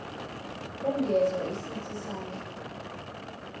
ungezwa isithi sandla